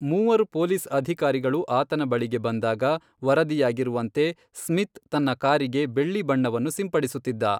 ಮೂವರು ಪೊಲೀಸ್ ಅಧಿಕಾರಿಗಳು ಆತನ ಬಳಿಗೆ ಬಂದಾಗ, ವರದಿಯಾಗಿರುವಂತೆ, ಸ್ಮಿತ್ ತನ್ನ ಕಾರಿಗೆ ಬೆಳ್ಳಿ ಬಣ್ಣವನ್ನು ಸಿಂಪಡಿಸುತ್ತಿದ್ದ.